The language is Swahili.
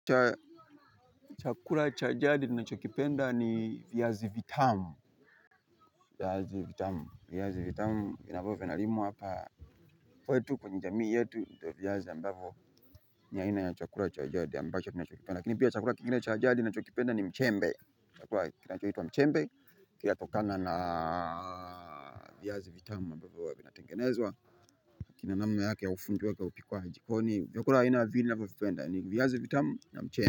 Chakula cha jadi nina chokipenda ni viazi vitamu. Viazi vitamu, viazi vitamu, ambavyo vinavyo limwa hapa kwetu kwenye jamii yetu ndo viazi ambavo ni aina ya chakula chajadi ambacho nina chokipenda, lakini pia chakula kikingine chajadi na chokipenda ni mchembe, chakula kinachoitwa mchembe, kina tokana na viazi vitamu ambavo huwa vinatengenezwa, kinanamna yake ya ufundi wake upikwaji jikoni, vyakula aina vya pili ni viazi vitamu na mchembe.